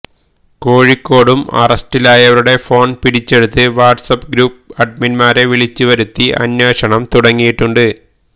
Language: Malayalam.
കോഴിക്കോടും അറസ്റ്റിലായവരുടെ ഫോണ് പിടിച്ചെടുത്ത് വാട്സ് ആപ്പ് ഗ്രൂപ്പ് അഡ്മിന്മാരെ വിളിച്ച് വരുത്തി അന്വേഷണം തുടങ്ങയിട്ടുണ്ട്